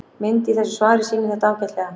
Mynd í þessu svari sýnir þetta ágætlega.